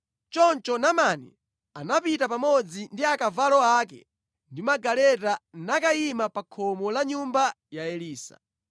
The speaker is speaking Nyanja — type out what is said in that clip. Choncho Naamani anapita pamodzi ndi akavalo ake ndi magaleta nakayima pa khomo la nyumba ya Elisa.